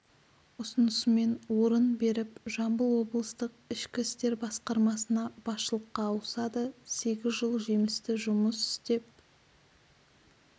ұсынысымен орнын беріп жамбыл облыстық ішкі істер басқармасына басшылыққа ауысады сегіз жыл жемісті жұмыс істеп